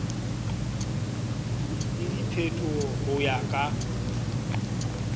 le diphetoho ho ya ka